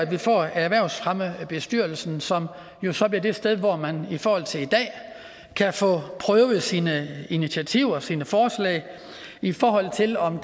vi får erhvervsfremmebestyrelsen som jo så bliver det sted hvor man i forhold til i dag kan få prøvet sine initiativer og sine forslag i forhold til om